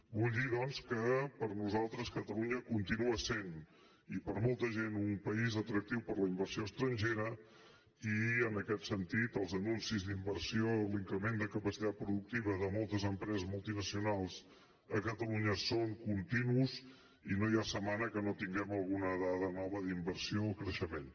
vull dir doncs que per a nosaltres catalunya continua sent i per molta gent un país atractiu per a la inversió estrangera i en aquest sentit els anuncis d’inversió l’increment de capacitat productiva de moltes empreses multinacionals a catalunya són continus i no hi ha setmana que no tinguem alguna dada nova d’inversió o creixement